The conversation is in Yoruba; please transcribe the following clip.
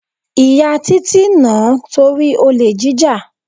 Ìyá Títí nà-án torí olè jíjà.